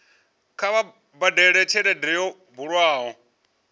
kha vha badele tshelede yo bulwaho